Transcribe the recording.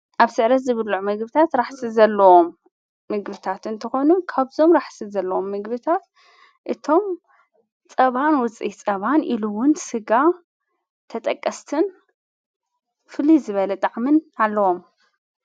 ኣብ ስዕረት ዝብሉዕ ምግብታት ራሕሲ ዘለዎም ምግብታት እንተኾኑ ካብዞም ራሕሲ ዘለዎም ምግብታት እቶም ጸባን ውፂሕ ጸባን ኢሉውን ሥጋ ተጠቀስትን ፍልይ ዝበለ ጣዕምን ኣለዎም።